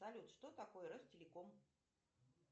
салют что такое ростелеком